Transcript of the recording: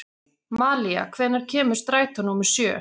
Malía, hvenær kemur strætó númer sjö?